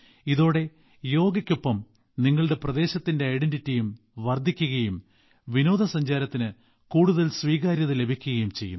ഇതോടെ യോഗയ്ക്കൊപ്പം നിങ്ങളുടെ പ്രദേശത്തിന്റെ ഐഡന്റിറ്റി വർദ്ധിക്കുകയും വിനോദസഞ്ചാരത്തിന് കൂടുതൽ സ്വീകാര്യത ലഭിക്കുകയും ചെയ്യും